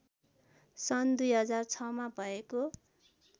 सन् २००६ मा भएको